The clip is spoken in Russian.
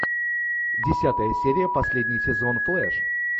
десятая серия последний сезон флэш